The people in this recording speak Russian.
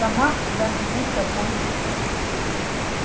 сама когда-нибудь такой же буду